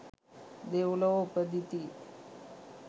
දෙව්ලොව උපදිති.